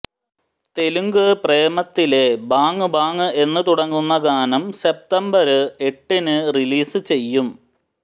തെലുങ്ക് പ്രേമത്തിലെ bang bang എന്ന് തുടങ്ങുന്ന ഗാനം സെപ്തംബര് എട്ടിന് റിലീസ് ചെയ്യും